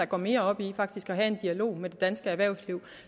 går mere op i at have en dialog med det danske erhvervsliv